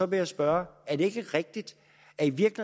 vil jeg spørge er det ikke rigtigt